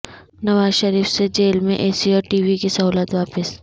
نواز شریف سے جیل میں A C اور ٹی وی کی سہولت واپس